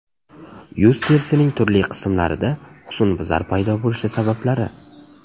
Yuz terisining turli qismlarida husnbuzar paydo bo‘lishi sabablari.